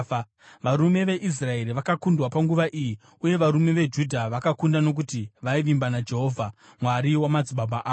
Varume veIsraeri vakakundwa panguva iyi, uye varume veJudha vakakunda nokuti vaivimba naJehovha, Mwari wamadzibaba avo.